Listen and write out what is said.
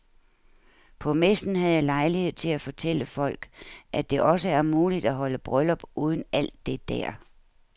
På messen havde jeg lejlighed til at fortælle folk, at det også er muligt at holde bryllup uden alt det der.